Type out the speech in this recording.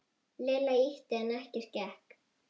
Lilla ýtti en ekkert gekk.